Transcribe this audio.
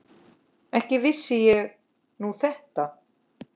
Ekki vissi ég nú þetta.